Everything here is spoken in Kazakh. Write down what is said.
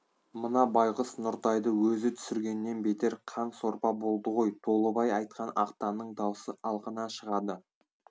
мына байғұс нұртайды өзі түсіргеннен бетер қан сорпа болды ғой толыбай айтқан ақтанның даусы алқына шығады